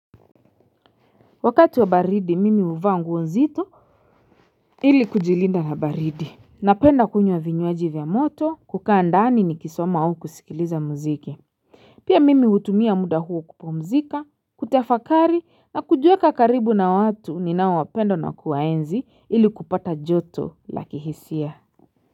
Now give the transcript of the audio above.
Wakati wa baridi mimi huvaa nguo nzito ili kujilinda na baridi Napenda kunywa vinywaji vya moto kukaa ndani nikisoma au kusikiliza muziki Pia mimi hutumia muda huo kupumzika kutafakari na kujiweka karibu na watu ninao wapenda na kuwaenzi ili kupata joto la kihisia.